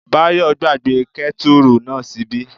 Báyọ̀ gbàgbé kẹ́tùrù náà ṣíbí